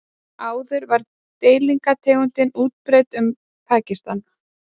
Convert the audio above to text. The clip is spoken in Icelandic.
áður var deilitegundin útbreidd um pakistan